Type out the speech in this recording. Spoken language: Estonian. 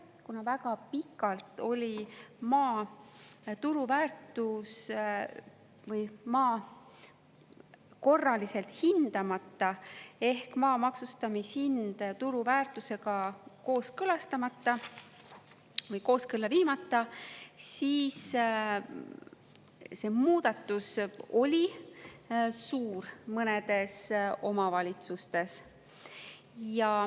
Kuna väga pikalt oli maa korraliselt hindamata ehk maa maksustamishind turuväärtusega kooskõlastamata või kooskõlla viimata, siis see muudatus oli suur mõnedes omavalitsustes.